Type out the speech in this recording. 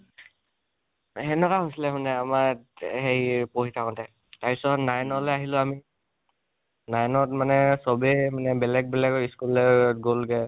সেনেকুৱা হৈছিলে মানে আমাৰ, হেৰি পঢ়ি থাকোঁতে, তাৰপিছত nine লৈ আহিলো আমি। nine ত মানে চবেই মানে বেলেগ বেলেগ school লে গলগে